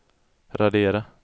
radera